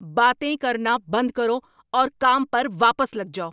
باتیں کرنا بند کرو اور کام پر واپس لگ جاؤ!